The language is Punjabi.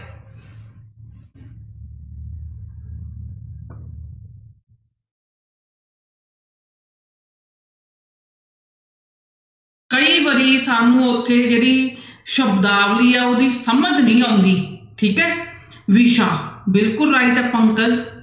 ਕਈ ਵਾਰੀ ਸਾਨੂੰ ਉੱਥੇ ਜਿਹੜੀ ਸ਼ਬਦਾਵਲੀ ਆ ਉਹਦੀ ਸਮਝ ਨਹੀਂ ਆਉਂਦੀ ਠੀਕ ਹੈ ਵਿਸ਼ਾ ਬਿਲਕੁਲ right ਹੈ ਪੰਕਜ।